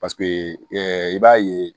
Paseke i b'a ye